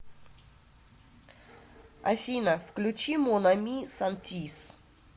афина включи мон ами сантиз